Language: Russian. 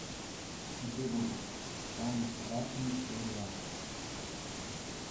окей гугл самый страшный сериал